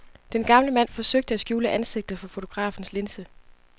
Den gamle mand forsøgte at skjule ansigtet for fotografens linse.